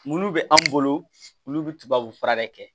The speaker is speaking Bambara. Mulu bɛ an bolo olu bɛ tubabu fura de kɛ